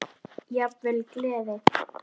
Að innan er hún hol.